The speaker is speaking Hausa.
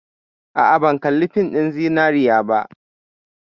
A'a, ban kalli fin ɗin Zinariya ba.